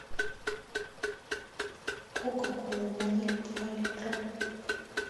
кока кола ваниль два литра